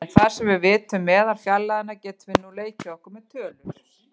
En þar sem við vitum meðalfjarlægðina getum við nú leikið okkur með tölur.